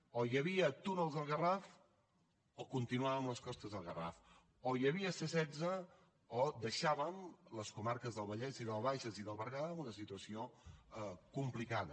o hi havia túnels del garraf o continuàvem amb les costes del garraf o hi havia c setze o deixàvem les comarques del vallès i del bages i del berguedà en una situació complicada